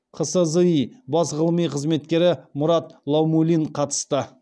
қсзи бас ғылыми қызметкері мұрат лаумулин қатысты